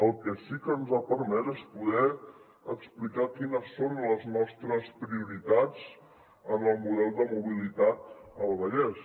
el que sí que ens ha permès és poder explicar quines són les nostres prioritats en el model de mobilitat al vallès